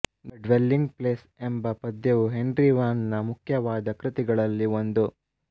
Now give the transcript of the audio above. the dwelling place ಎಂಬ ಪದ್ಯವು Henry Vaughan ನ ಮುಖ್ಯವಾದ ಕ್ರುತಿಗಳಲ್ಲಿ ಒಂದು